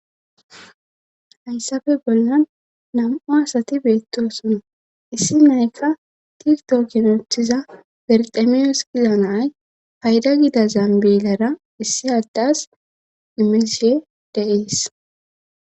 Hayssappe bollan nam7u asati beettosona issi nayfa tigto ginothiza berxemiyo sqila nay payda gida zaambilera issi haddas imeshe deees.